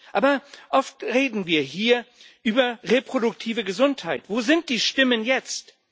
Aber oft reden wir hier über reproduktive Gesundheit wo sind die Stimmen jetzt?